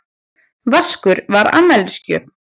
Vaskur var afmælisgjöf.